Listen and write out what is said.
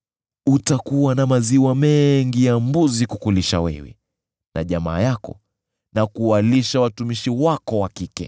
Utakuwa na maziwa mengi ya mbuzi kukulisha wewe na jamaa yako, na kuwalisha watumishi wako wa kike.